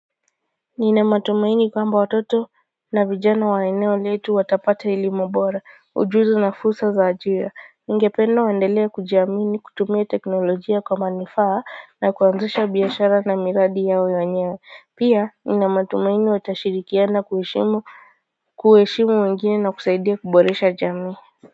Nina matumaini kwamba watoto na vijana wa eneo letu watapata elimu bora ujuzi na fursa za ajira ningependa waendelea kujiamini kutumia teknolojia kwa manufaa na kuanzisha biashara na miradi yao wenyewe pia nina matumaini watashirikiana kuheshimu kuheshimu wengine na kusaidia kuboresha jamii.